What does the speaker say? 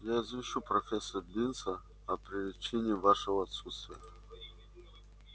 я извещу профессора бинса о причине вашего отсутствия